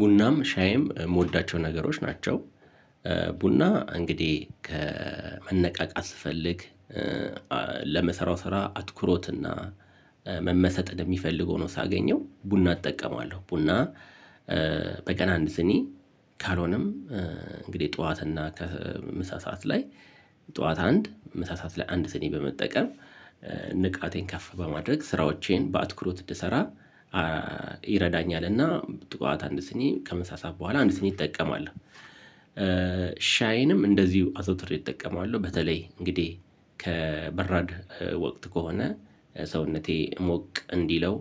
ቡናም ሻይም የምወዳቸው ነገሮች ናቸው ቡና እንግዲህ ከ መነቃቃት ስፈልግ ለምሰራው ስራ አትኩሮትና መመሰጥን የሚፈልግ ሆኖ ሳገኘው ቡና እጠቀማለሁ ቡና በቀን አንድ ስኒ ካልሆነም እንግዲህ ጠዋት እና ከምሳ ሰዓት ላይ ጠዋት አንድ ምሳ ሰዓት ላይ አንድ ስኒ በመጠቀም ንቃቴን ከፍ በማድረግ ስራዎቼን በአትኩሮት እንድሰራ ይረዳኛልና ጥዋት አንድ ስኒ ከምሳ ሰዓት በኋላ አንድ ስኒ እጠቀማለሁ። ሻይንም እንደዚሁ አዘውትሬ እጠቀማለሁ። በተለይ እንግዲህ ከበራድ ወቅት ከሆነ ሰውነቴ ሞቅ እንዲለው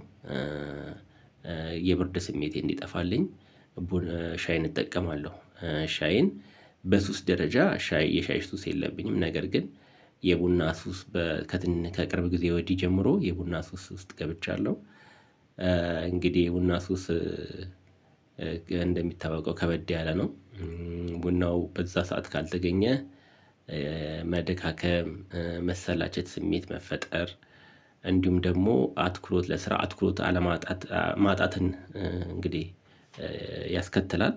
የብርድ ስሜቴን እንዲጠፋልኝ ቡን ሻይን እጠቀማለሁ። ሻይን በሱስ ደረጃ ሻይ የሻይ ሱስ የለብኝም። ነገር ግን የቡና ሱስ በ ከትን ከቅርብ ጊዜ ወዲህ ጀምሮ የቡና ሱስ ውስጥ ገብቻለሁ። እንግዲህ የቡና ሱስ እንደሚታወቀው ከበድ ያለ ነው። ቡናው በዛ ሰዓት ካልተገኘ መደካከም መሰላቸት ስሜት መፈጠር፣ እንዲሁም ደግሞ አትኩሮት ለስራ አትኩሮት አለማጣት ማጣትን እንግዲህ ያስከትላል።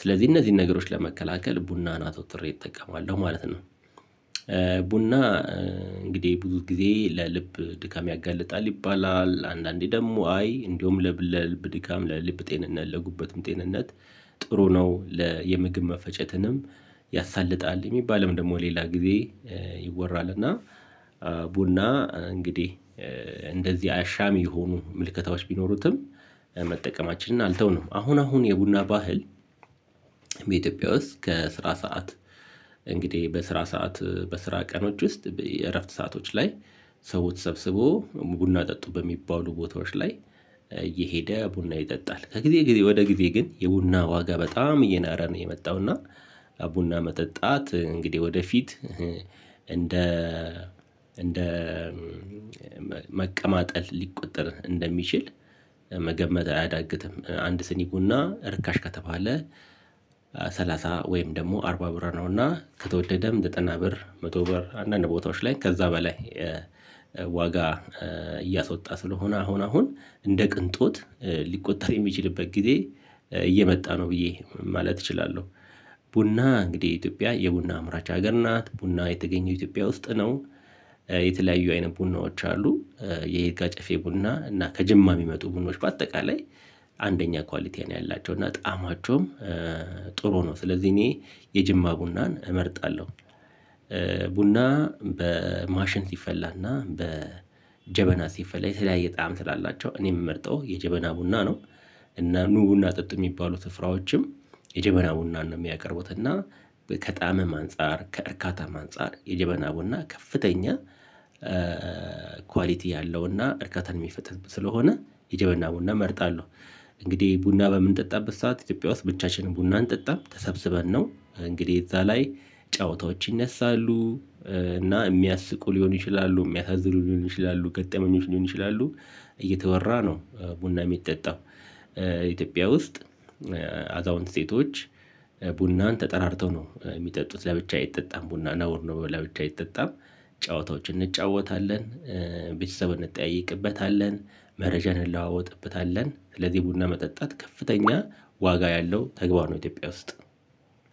ስለዚህ እነዚህን ነገሮች ለመከላከል ቡናን አዘውትሬ እጠቀማለሁ ማለት ነው። ቡና እንግዲህ ብዙ ጊዜ ለልብ ድካም ያጋልጣል ይባላል፣ አንዳንዴ ደግሞ አይ እንደውም ለብል ለልብ ድካም ለልብ ጤንነት ለጉበትም ጤንነት ጥሩ ነው ለ የምግብ መፈጨትንም ያሳልጣል የሚባልም ደግሞ ሌላ ጊዜ ይወራል እና ቡና እንግዲህ እንደዚህ አሻሚ የሆኑ ምልከታዎች ቢኖሩትም መጠቀማችንን አልተውንም። አሁን አሁን የቡና ባህል በኢትዮጵያ ውስጥ ከስራ ሰዓት እንግዲህ በስራ ሰዓት በስራ ቀኖች ውስጥ የእረፍት ሰአቶች ላይ ሰው ተሰብስቦ ቡና ጠጡ በሚባሉ ቦታዎች ላይ እየሄደ ቡና ይጠጣል። ከጊዜ ጊዜ ወደ ጊዜ ግን የቡና ዋጋ በጣም እየናረ ነው የመጣው እና ቡና መጠጣት እንግዲህ ወደፊት እንደ እንደ መቀማጠል ሊቆጠር እንደሚችል መገመት አያዳግትም። አንድ ስኒ ቡና ርካሽ ከተባለ ሰላሳ ወይም ደግሞ አርባ ብር ነውና ከተወደደም ዘጠና ብር መቶ ብር አንዳንድ ቦታዎች ላይ ከዛ በላይ ዋጋ እያስወጣ ስለሆነ አሁን አሁን እንደ ቅንጦት ሊቆጠር የሚችልበት ጊዜ እየመጣ ነው ብዬ ማለት እችላለሁ። ቡና እንግዲህ ኢትዮጵያ የቡና አምራች ሀገር ናት። ቡና የተገኘው ኢትዮጵያ ውስጥ ነው የተለያዩ አይነት ቡናዎች አሉ የይርጋ ጨፌ ቡና እና ከጅማ የሚመጡ ቡኖች በአጠቃላይ አንደኛ ኳሊቲ ነው ያላቸው እና ጣማቸውም ጥሩ ነው። ስለዚህ እኔ የጅማ ቡናን እመርጣለሁ። ቡና በማሽን ሲፈላና በጀበና ሲፈላ የተለያየ ጣዕም ስላላቸው እኔ የምመርጠው የጀበና ቡና ነው። እና ኑ ቡና ጠጡ የሚባሉ ስፍራዎችም የጀበና ቡናን ነው የሚያቀርቡት እና ከጣዕምም አንፃር ከእርካታም አንፃር የጀበና ቡና ከፍተኛ ኳሊቲ ያለውና እርካታን የሚፈጥር ስለሆነ የጀበና ቡና እመርጣለሁ። እንግዲህ ቡና በምንጠጣበት ሰዓት ኢትዮጵያ ውስጥ ብቻችንን ቡና አንጠጣም። ተሰብስበን ነው እንግዲህ እዛ ላይ ጨዋታዎች ይነሳሉ። እና የሚያስቁ ሊሆን ይችላሉ፣ የሚያሳዝኑ ሊሆን ይችላሉ፣ ገጠመኞች ሊሆን ይችላሉ፣ እየተወራ ነው ቡና የሚጠጣው ኢትዮጵያ ውስጥ አዛውንት ሴቶች ቡናን ተጠራርተው ነው የሚጠጡት ለብቻ አይጠጣም ቡና ነውር ነው ለብቻ አይጠጣም ጨዋታዎችን እንጫወታለን፣ ቤተሰብ እንጠያይቅበታለን፣ መረጃን እንለዋወጥበታለን። ስለዚህ ቡና መጠጣት ከፍተኛ ዋጋ ያለው ተግባር ነው ኢትዮጵያ ውስጥ